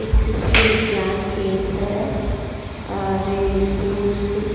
एक कृषि विज्ञानं केंद्र है और यह एक--